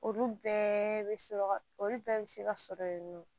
Olu bɛɛ bɛ se ka olu bɛɛ bɛ se ka sɔrɔ yen nɔ